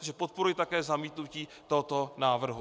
Takže podporuji také zamítnutí tohoto návrhu.